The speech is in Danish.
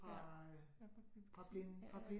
Ja ja fra biblioteket ja ja